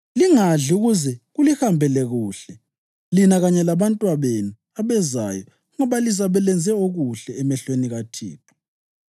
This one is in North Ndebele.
Lingadli, ukuze kulihambele kuhle lina kanye labantwabenu abezayo, ngoba lizabe lenze okuhle emehlweni kaThixo.